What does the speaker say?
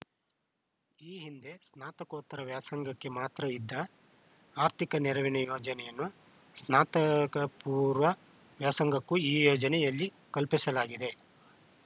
ಈ ಹಿಂದೆ ಸ್ನಾತಕೋತ್ತರ ವ್ಯಾಸಂಗಕ್ಕೆ ಮಾತ್ರ ಇದ್ದ ಆರ್ಥಿಕ ನೆರವಿನ ಯೋಜನೆಯನ್ನು ಸ್ನಾತಕಪೂರ್ವ ವ್ಯಾಸಂಗಕ್ಕೂ ಈ ಯೋಜನೆಯಲ್ಲಿ ಕಲ್ಪಿಸಲಾಗಿದೆ